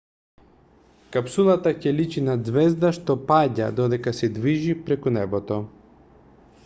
капсулата ќе личи на ѕвезда што паѓа додека се движи преку небото